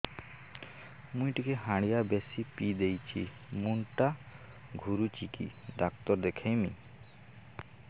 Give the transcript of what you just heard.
ମୁଇ ଟିକେ ହାଣ୍ଡିଆ ବେଶି ପିଇ ଦେଇଛି ମୁଣ୍ଡ ଟା ଘୁରୁଚି କି ଡାକ୍ତର ଦେଖେଇମି